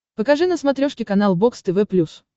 покажи на смотрешке канал бокс тв плюс